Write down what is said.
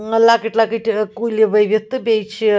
.م لۄکٕٹۍ لۄکٕٹۍ ا کُلۍ ؤوِتھ تہٕ بیٚیہِ چھ